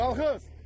Qalxız!